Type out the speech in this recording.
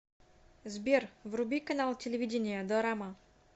сбер вруби канал телевидения дорама